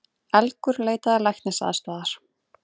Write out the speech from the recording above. Elgur leitaði læknisaðstoðar